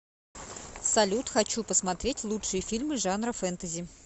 салют хочу посмотреть лучшие фильмы жанра фентази